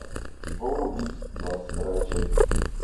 школа убийц двадцать вторая часть